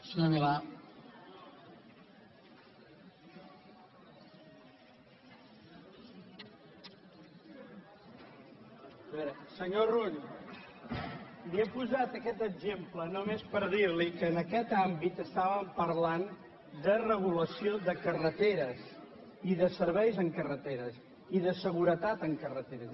a veure senyor rull li he posat aquest exemple només per dir li que en aquest àmbit estàvem parlant de regulació de carreteres i de serveis en carreteres i de seguretat en carreteres